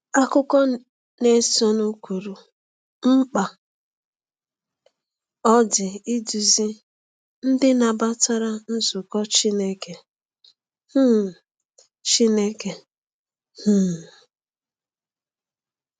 Akụkụ na-esonụ kwuru mkpa ọ dị iduzi ndị nabatara nzukọ Chineke. um Chineke. um